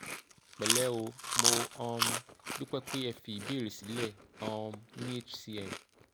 pẹ̀lẹ́ o mo um dúpẹ́ pé ẹ fi ìbéèrè sílẹ̀ um ní hcm